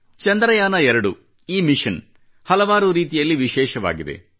ಚಂದ್ರಯಾನ 2 ಈ ಮಿಶನ್ ಹಲವಾರು ರೀತಿಯಲ್ಲಿ ವಿಶೇಷವಾಗಿದೆ